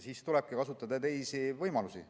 Siis tulebki kasutada teisi võimalusi.